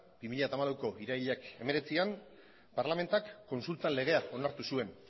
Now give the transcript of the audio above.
bi mila hamalauko irailak hemeretzian parlamentuak kontsulta legea onartu zuen